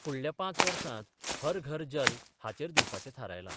फुडल्या पांच वर्सांत 'हर घर जल 'हाचेर दिवपाचे थारायला.